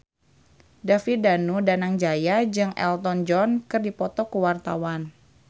David Danu Danangjaya jeung Elton John keur dipoto ku wartawan